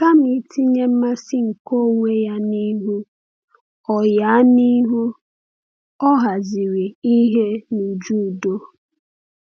Kama itinye mmasị nke onwe ya n’ihu, ọ ya n’ihu, ọ haziri ihe n’uju udo.